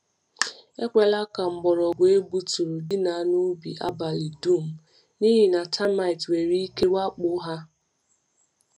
Ekwela ka mgbọrọgwụ egbuturu dina n’ubi abalị dum, n’ihi na termites nwere ike wakpo ha. ike wakpo ha.